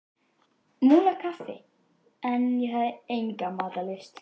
Múlakaffi en ég hafði enga matarlyst.